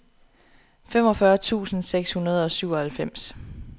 femogfyrre tusind seks hundrede og syvoghalvfems